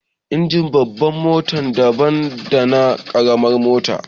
Injin babbar mota daban dana ƙaramar mota